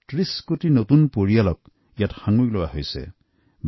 ৩০ কোটি ভাৰতীয়ই এই যোজনাত অংশগ্ৰহণ কৰি তেওঁলোকৰ প্ৰথম বেংক একাউণ্ট খুলিলে